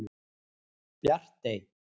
Bjartey